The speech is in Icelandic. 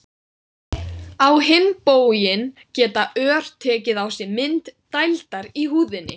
Á hinn bóginn geta ör tekið á sig mynd dældar í húðinni.